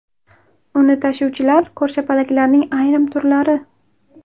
Uni tashuvchilar ko‘rshapalaklarning ayrim turlari.